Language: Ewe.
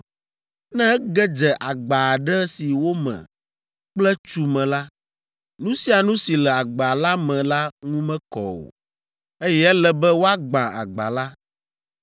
Ne ege dze agba aɖe si wome kple tsu me la, nu sia nu si le agba la me la ŋu mekɔ o, eye ele be woagbã agba la.